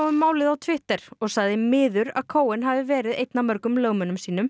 um málið á Twitter og sagði miður að Cohen hafi verið einn af mörgum lögmönnum sínum